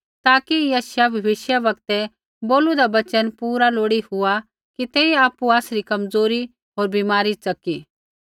ताकि यशायाह भविष्यवक्तै बोलूदा वचन पूरा लोड़ी हुआ कि तेइयै आपु आसरी कमज़ोरी होर बीमारी च़की